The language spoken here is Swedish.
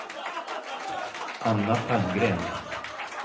Anna Palmgren